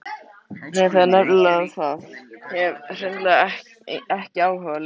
Nei, það er nefnilega það, hef hreinlega ekki áhuga lengur.